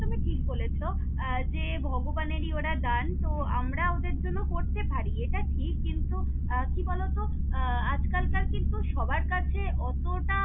তুমি ঠিক বলেছ আহ যে ভগবানেরি ওরা দান, তো আমরা ওদের জন্য করতে পারি এটা ঠিক কিন্তু আহ কি বলত আহ আজকালকার কিন্তু সবার কাছে অতোটা।